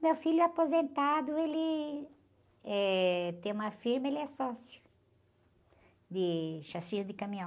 Meu filho aposentado, ele, eh, tem uma firma, ele é sócio, de chassi de caminhão.